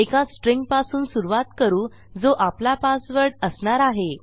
एका स्ट्रिंगपासून सुरूवात करू जो आपला पासवर्ड असणार आहे